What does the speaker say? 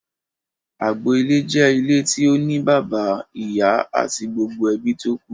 Agbo ilé jẹ́ ilé tí ó ní bàbá, ìyá àti gbogbo ebí tókù.